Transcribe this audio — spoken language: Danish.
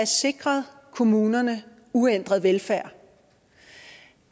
sikre kommunerne uændrede velfærd